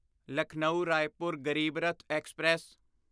Lucknow Raipur Garib Rath express